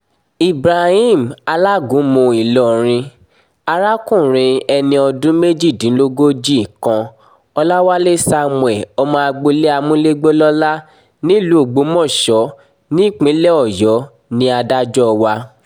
ibrahim alágúnmu ìlọrin arákùnrin ẹni ọdún méjìdínlógójì kan ọ̀làwálẹ̀ samuel ọmọ agboolé amúlégbòlọ́lá nílùú ògbómọ̀ṣọ́ nípínlẹ̀ ọ̀yọ́ ní adájọ́ a